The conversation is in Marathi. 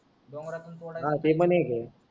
डोंगरातून तोड्याचा